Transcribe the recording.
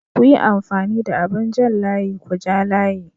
Kuyi amfani da abin jan layi kuja layi.